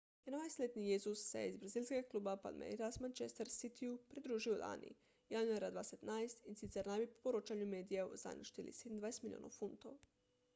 21-letni jesus se je iz brazilskega kluba palmeiras manchester city-ju pridružil lani januarja 2017 in sicer naj bi po poročanju medijev zanj odšteli 27 milijonov funtov